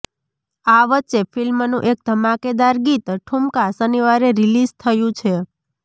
આ વચ્ચે ફિલ્મનું એક ધમાકેદાર ગીત ઠુમકા શનિવારે રિલીઝ થયું છે